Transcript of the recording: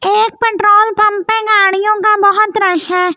एक petrol pump पे गाड़ियों का बहुत रश है गाड़ी--